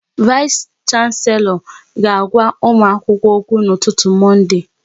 Vais Shanselo ga agwa ụmụ akwụkwọ okwu n'ụtụtụ Monde